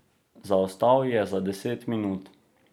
Zaostal je za deset minut.